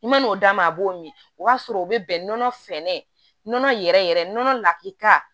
I man'o d'a ma a b'o min o b'a sɔrɔ o bɛ bɛn nɔnɔ fɛnɛ yɛrɛ yɛrɛ nɔnɔ la